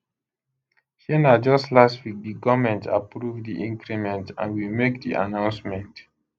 shey na just last week di goment approve di increment and we make di announcement